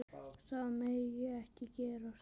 Það megi ekki gerast.